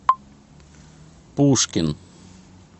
пушкин